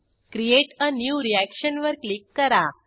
create a new reaction वर click करा